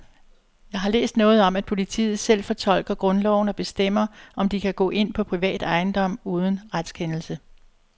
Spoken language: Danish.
Jeg har læst noget om, at politiet selv fortolker grundloven og bestemmer, om de kan gå ind på privat ejendom uden retskendelse.